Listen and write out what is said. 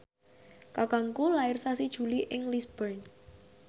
kakangku lair sasi Juli ing Lisburn